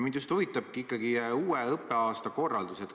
Mind just huvitabki uue õppeaasta korraldus.